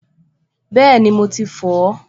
Bẹ́ẹ̀ni, mo ti fọ̀ ọ́